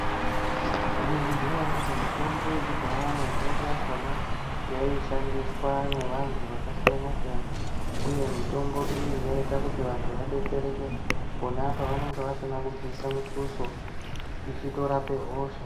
Maizviziva here kuti mutombo yekudhaya mizhinji yakona yaishandiswa nevandu yakasiyana siyana uye mitombo iyi yaita kuti vandu vabetsereke pona pavanenge vasina kubvisa mifoso ichitorape hosha.